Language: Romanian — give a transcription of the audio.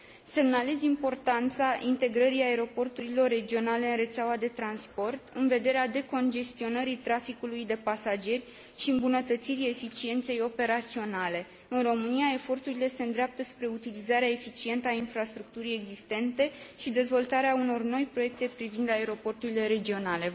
Semnalez importanța integrării aeroporturilor regionale în rețeaua de transport, în vederea decongestionării traficului de pasageri și îmbunătățirii eficienței operaționale. În România eforturile se îndreaptă spre utilizarea eficientă a infrastructurii existente și dezvoltarea unor noi proiecte privind aeroporturile regionale.